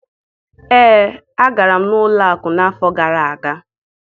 Ee, agara m ụlọ akụ n'afọ gara aga